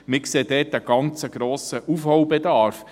wir sehen dort einen sehr grossen Aufholbedarf.